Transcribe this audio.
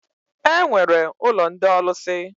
E nwere ụlọ ndị ọlụsị.